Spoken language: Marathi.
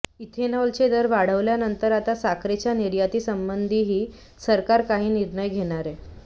इथेनॉलचे दर वाढवल्यानंतर आता साखरेच्या निर्यातीसंबंधीही सरकार काही निर्णय घेणारेय